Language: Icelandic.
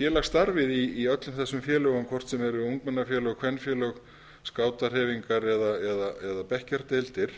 félagsstarfið í öllum þessum félögum hvort sem eru ungmennafélög kvenfélög skátahreyfingar eða bekkjardeildir